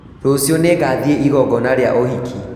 Rũciũ nĩngathiĩ igongona rĩa ũhiki